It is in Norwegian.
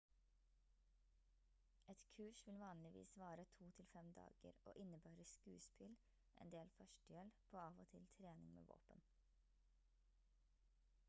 et kurs vil vanligvis vare to til fem dager og innebærer skuespill en del førstehjelp og av og til trening med våpen